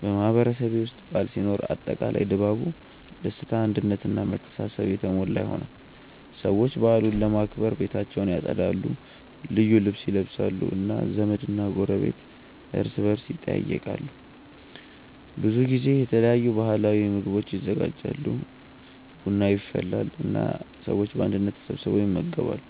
በማህበረሰቤ ውስጥ በዓል ሲኖር አጠቃላይ ድባቡ ደስታ አንድነት እና መተሳሰብ የተሞላ ይሆናል። ሰዎች በዓሉን ለማክበር ቤታቸውን ያጸዳሉ፣ ልዩ ልብስ ይለብሳሉ እና ዘመድና ጎረቤት እርስ በርስ ይጠያየቃሉ። በብዙ ጊዜ የተለያዩ ባህላዊ ምግቦች ይዘጋጃሉ፣ ቡና ይፈላል እና ሰዎች በአንድነት ተሰብስበው ይመገባሉ።